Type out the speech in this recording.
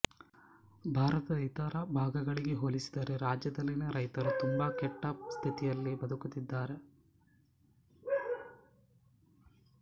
ಭಾರತದ ಇತರ ಭಾಗಗಳಿಗೆ ಹೋಲಿಸಿದರೆ ರಾಜ್ಯದಲ್ಲಿನ ರೈತರು ತುಂಬಾ ಕೆಟ್ಟ ಸ್ಥಿತಿಯಲ್ಲಿ ಬದುಕುತ್ತಿದ್ದಾರೆ